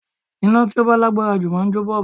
Iná tí ó bá lágbára jù máa ń jó bọ́ọ̀bù